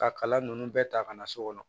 Ka kala ninnu bɛɛ ta ka na so kɔnɔ